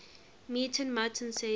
meeting martin says